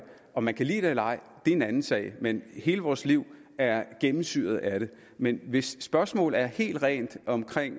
om man kan lide det eller ej er en anden sag men hele vores liv er gennemsyret af det men hvis spørgsmålet er helt rent omkring